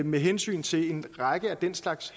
med hensynet til en række af den slags